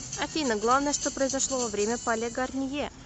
афина главное что произошло во время пале гарнье